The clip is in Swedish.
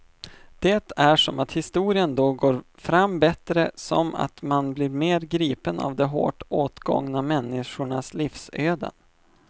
Det är som att historien då går fram bättre, som att man blir mer gripen av de hårt åtgångna människornas livsöden.